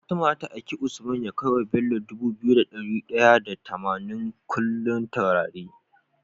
Fatima zata aiki usman ya kai wa Bello Dubu biyu da dari daya da tamanin kullun turare